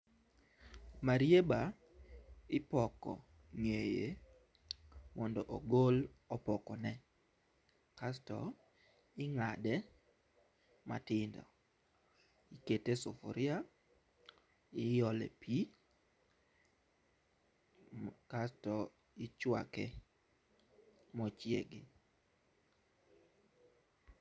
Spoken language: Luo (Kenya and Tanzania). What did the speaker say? marieba ipoko ng'eye mondo ogol opoko ne kasto ing'ade matindo. Ikete e sufuria iole pii kasto ichwake mochiegi.